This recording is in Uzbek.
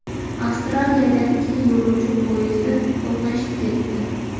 Avstriyada ikkita yo‘lovchi poyezdi to‘qnashib ketdi.